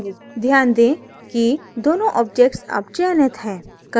ध्यान दें कि दोनों objects अब चयनित हैं